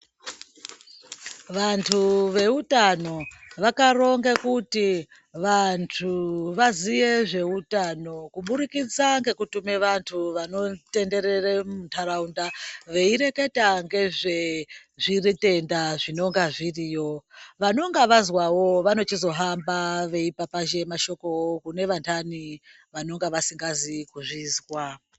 Vantu veutano vakaronge kuti vantu vaziye zveutano kuburikitsa ngekutume vantu vanotenderere ntaraunda veireketa ngezvezvire tenda zvinonga zviriyo vanenge vazwawo vanochizohamba veipapazhe mashokowo kune vantani vanonga vasikazi kuzvizwa.